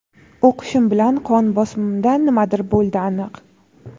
O‘qishim bilan qon bosimimda nimadir bo‘ldi aniq.